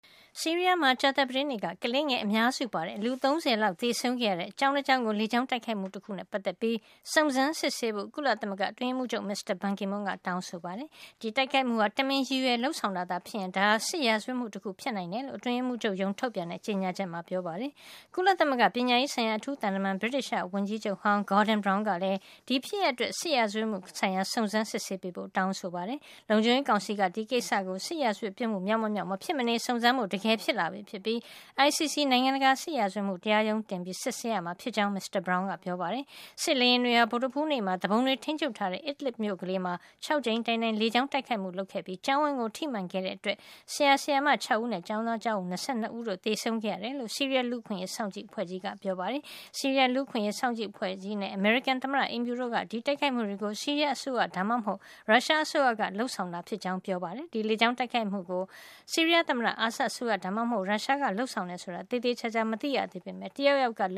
ဆီးရီးယားမှာ ကြာသပတေးနေ့က ကလေးငယ် အများစုပါတဲ့ လူ ၃၀ လောက် သေဆုံးခဲ့ရတဲ့ ကျောင်းတကျောင်းကို လေကြောင်း တိုက်ခိုက်မှု တခုနဲ့ ပတ်သက်ပြီး စုံစမ်းစစ်ဆေးဖို့ ကုလသမဂ္ဂ အတွင်းရေးမှုးချုပ် မစ္စတာ ဘန်ကီမွန်းက တောင်းဆိုလိုက်ပါတယ်။ ဒီတိုက်ခိုက်မှုဟာ တမင်ရည်ရွယ် လုပ်ဆောင်ခဲ့တာဖြစ်ရင် ဒါဟာ စစ်ရာဇဝတ်မှု တခုဖြစ်နိုင်တယ်လို့ အတွင်းရေးမှုးချုပ်ရုံးက ထုတ်ပြန်တဲ့ ကြေညာချက်မှာ မစ္စတာဘန်က ပြောကြားထားပါတယ်။ ကုလသမဂ္ဂ ပညာရေးဆိုင်ရာ အထူးသံတမန် ဗြိတိသျှ ဝန်ကြီးချုပ်ဟောင်း Gordon Brown ကလည်း ဒီဖြစ်ရပ်အတွက် စစ်ရာဇဝတ်မှု ဆိုင်ရာ စုံစမ်းစစ်ဆေးပေးဖို့ တောင်းဆိုခဲ့တာပါ။ လုံခြုံရေးကောင်စီက ဒီကိစ္စကို စစ်ရာဇဝတ်ပစ်မှု မြောက်မမြောက် မဖြစ်မနေ စုံစမ်းဖို့ တကယ် ဖြစ်လာပြီ ဖြစ်ပြီး ICC နိုင်ငံတကာ စစ်ရာဇဝတ်မှု တရားရုံးတင်ပြီး စုံစမ်းစစ်ဆေးရမှာ ဖြစ်ကြောင်း မစ္စတာ Brown ကပြောပါတယ်။ စစ်လေယာဉ်တွေဟာ ဗုဒ္ဓဟူးနေ့မှာ သူပုန်တွေ ထိမ်းချုပ်ထားတဲ့ Idlib မြို့ကလေးမှာ ၆ ကြိမ်တိုင်တိုင် လေကြောင်း တိုက်ခိုက်မှုတွေ လုပ်ခဲ့ပြီး ကျောင်းဝင်းကို ထိမှန်ခဲ့တဲ့ အတွက် ဆရာ၊ဆရာမ ၆ ဦးနဲ့ ကျောင်းသားကျောင်းသူ ၂၂ ဦးတို့ သေဆုံးခဲ့ရတယ်လို့ ဆီးရီးယားလူ့အခွင့်ရေးစောင့်ကြည့် အဖွဲ့ကြီး ကပြောပါတယ်။ ဆီးရီးယားလူ့အခွင့်ရေးစောင့်ကြည့် အဖွဲ့ကြီးနဲ့ အမေရိကန် သမ္မတ အိမ်ဖြူတို့က ဒီတိုက်ခိုက်မှုတွေကို ဆီးရီးယား အစိုးရ ဒါမှမဟုတ် ရုရှား အစိုးရက လုပ်ဆောင်တာဖြစ်ကြောင်း ပြောကြပါတယ်။ ဒီလေကြောင်း တိုက်ခိုက်မှုတွေကို ဆီးရီးယားသမ္မတ အာဆတ်အစိုးရ ဒါမှမဟုတ် ရုရှားက လုပ်ဆောင်တယ် ဆိုတာ ကို သေသေချာချာ မသိရသေးပေမယ့် တယောက်ယောက်က လ